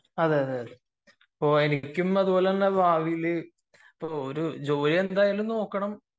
ആഹ് അപ്പൊ എനിക്കും അതേപോലെ ഭാവിയിൽ ജോലി എന്തെങ്കിലും നോക്കണം